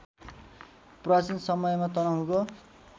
प्राचीन समयमा तनहुँको